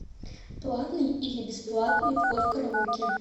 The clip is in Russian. платный или бесплатный вход в караоке